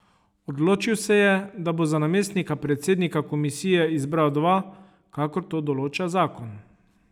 Odločil se je, da bo za namestnika predsednika komisije izbral dva, kakor to določa zakon.